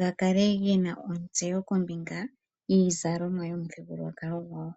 gakale gena ontseyo kombinga yiizalomwa yomuthigululwakalo gwawo.